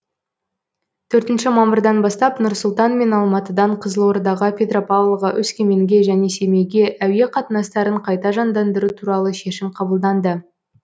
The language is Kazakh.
төртінші мамырдан бастап нұр сұлтан мен алматыдан қызылордаға петропавлға өскеменге және семейге әуе қатынастарын қайта жандандыру туралы шешім қабылданды